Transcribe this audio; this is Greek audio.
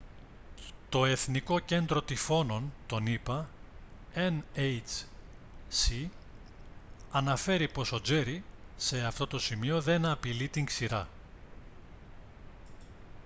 το εθνικό κέντρο τυφώνων των ηπα nhc αναφέρει πως ο τζέρι σε αυτό το σημείο δεν απειλεί την ξηρά